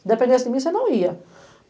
Se dependesse de mim, você não ia.